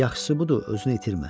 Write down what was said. Yaxşısı budur, özünü itirmə.